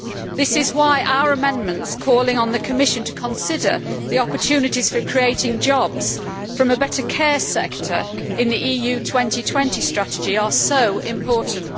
This is why our amendments that call on the Commission to consider the opportunities for creating jobs from a better care sector in the EU 2020 strategy are so important.